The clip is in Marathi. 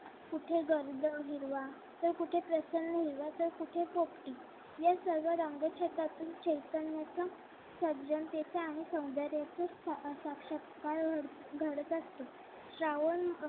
कुठे गर्द हिरवा तर कुठे प्रसन्न हिरवा तर कुठे पोपटी या सर्व रंग छटातून चैतान्याचा सज्जनतेचा आणि सौंदर्याचा साक्षात्कार घडत असतो श्रावण